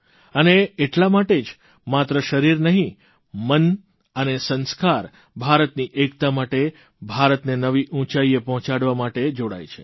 અને એટલા માટે જ માત્ર શરીર નહીં મન અને સંસ્કાર ભારતની એકતા માટે ભારતને નવી ઉંચાઇએ પહોંચાડવા માટે જોડાય છે